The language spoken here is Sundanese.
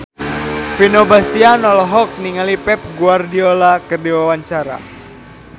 Vino Bastian olohok ningali Pep Guardiola keur diwawancara